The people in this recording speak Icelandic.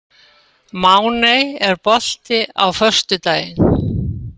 Máney, er bolti á föstudaginn?